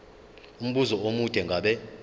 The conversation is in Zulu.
umbuzo omude ngabe